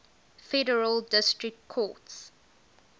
federal district courts